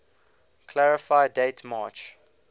clarify date march